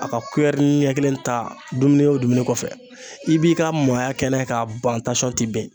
A ka kuyɛrini ɲɛ kelen ta dumuni o dumuni kɔfɛ i b'i ka maaya kɛ n'a ye k'a ban tansɔn ti ben